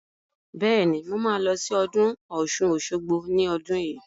Bẹ́ẹ̀ni, mo ma lọ sí ọdún Ọ̀ṣun-Òṣogbo ní ọdún yìí